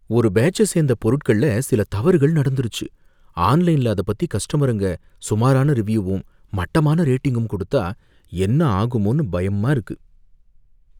ஒரு பேட்ச்ச சேந்த பொருட்கள்ல சில தவறுகள் நடந்துருச்சு, ஆன்லைன்ல அத பத்தி கஸ்டமருங்க சுமாரான ரிவ்யூவும் மட்டமான ரேட்டிங்கும் கொடுத்தா என்ன ஆகுமோனு பயமா இருக்கு.